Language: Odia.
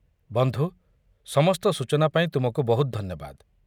ବନ୍ଧୁ, ସମସ୍ତ ସୂଚନା ପାଇଁ ତୁମକୁ ବହୁତ ଧନ୍ୟବାଦ।